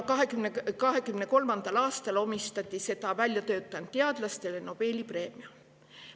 2023. aastal omistati seda välja töötanud teadlastele Nobeli preemia.